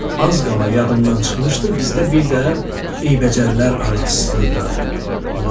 az qala yadımdan çıxmışdı, bizdə bir də eybəcərlər anası da var.